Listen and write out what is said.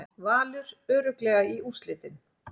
Valur örugglega í úrslitin